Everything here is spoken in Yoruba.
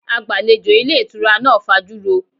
Agbalejo ilé ìtura náà fajuro.